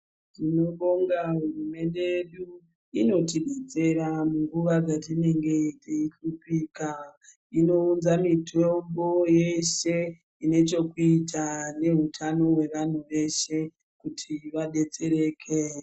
Tinobonga hurumende yedu ,iyo inotidetsera munguwa dzatinenge tiyishupika ,inowunza mitombo yese inechekuita nehutano hwevanhu veshe kuti vadetsereke.